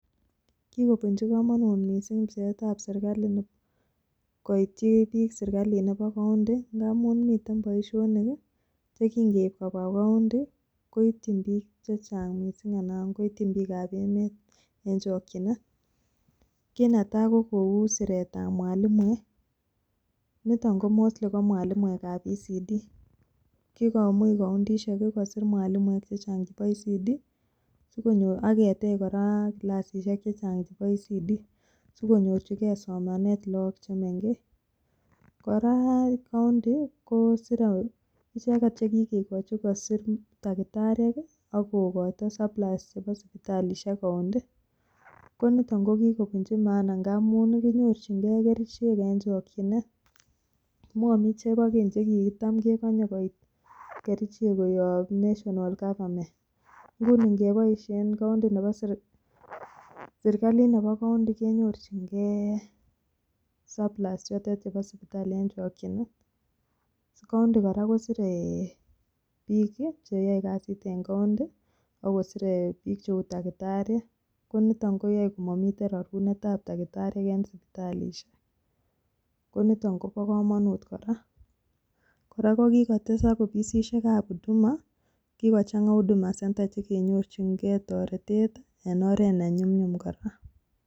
Kiobunji komonut mising pcheetab serkalit, koityi biik serkalit nebo county ngamun miten boishonik che kinkeib kobwa county koityin biik che chang mising. Anan koityin biikab emet en chokinet. Kit netai ko kou siretab mwalimuek, niton ko mostly ko mwalimuekab ECD. Kigomuch koundishek kosir mwalimuek chechang chebo ECD. Ak ketech kora kilasishek chechang chebo ECD sikonyorjige somanet logok che mengech. Kora koundi ko icheget che kigochi kosir takitariek ak kogoito supply chebo sipitalishek koundi. Ko niton kogibunchi maana ngamun kinyorjinge kerichek en chokjinet. Momi chebo keny che kitam kegonye koit kerichek koyob national government . Nguni ngeboishen serkalit nebo koundi kenyorjinge supply ichotok chebo sipitalishek en chokchinet. Koundi kora kosire biik che yoe kasit en koundi ago sire biik cheu tagitariek. Ko nito koyoe komomiten rarunetab takitariek en sipitalisiek. Koniton kobo komonut kor. Kora kokigotesak ofisisiekab huduma kigochang'a Huduma Centre che kenyorjinge toretet en oret ne nyumnyum kora.